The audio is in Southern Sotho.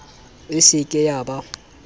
e se ke ya ba